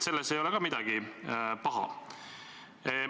Selles ei ole midagi paha.